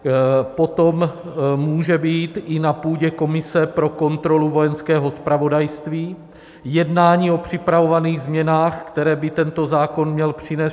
Potom může být i na půdě komise pro kontrolu Vojenského zpravodajství jednání o připravovaných změnách, které by tento zákon měl přinést.